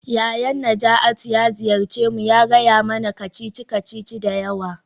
Yayan Najatu ya ziyarce mu ya gaya mana kacici-kacici da yawa.